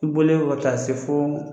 I bɔlen ka taa se fo